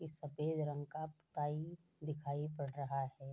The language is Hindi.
ई सफ़ेद रंग का पाई दिखाई पड़ा रहा है।